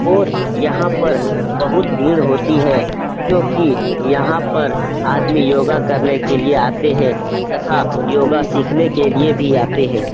और यहां पर बोहोत भीड़ होती है क्यूंकी यहाँ पर आदमी योगा करने के लिए आते हैं तथा योगा सीखने के लिए भी आते हैं।